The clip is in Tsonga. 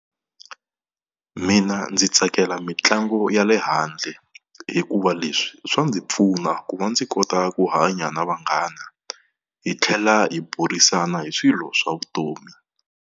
Mina ndzi tsakela mitlangu ya le handle hikuva leswi swi ndzi pfuna ku va ndzi kota ku hanya na vanghana hi tlhela hi burisana hi swilo swa vutomi.